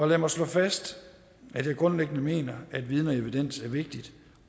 lad mig slå fast at jeg grundlæggende mener at viden og evidens er vigtigt